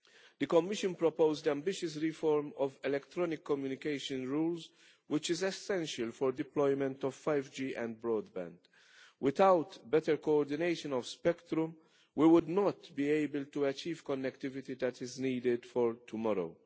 The Commission proposed ambitious reform of electronic communication rules, which is essential for deployment of 5G and broadband, Without better coordination of spectrum, we would not be able to achieve connectivity that is needed for tomorrow.